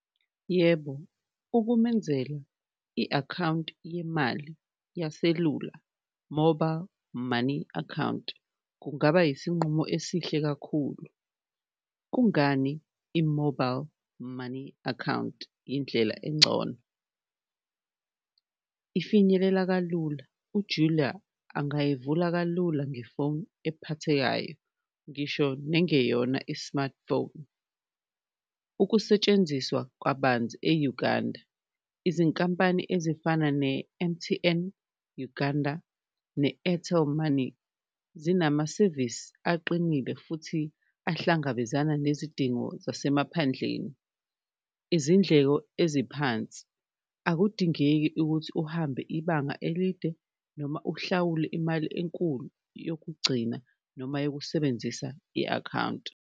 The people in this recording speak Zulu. Yebo, ukumenzela i-akhawunti yemali yaselula mobile money account kungaba yisinqumo esihle kakhulu, kungani i-mobile money account indlela engcono, ifinyelela kalula uJulia angayivula kalula ngefoni ephathekayo ngisho nengeyona i-smartphone. Ukusetshenziswa kabanzi e-Uganda, izinkampani ezifana ne-M_T_N Uganda ne-Airtel Money zinamasevisi aqinile futhi ahlangabezana nezidingo zasemaphandleni, izindleko eziphansi, akudingeki ukuthi uhambe ibanga elide noma uhlawule imali enkulu yokugcina noma yokusebenzisa i-akhawunti.